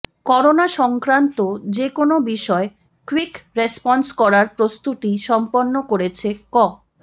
corona সংক্রান্ত যে কোনো বিষয়ে কুইক রেসপন্স করার প্রস্তুতি সম্পন্ন করেছে ক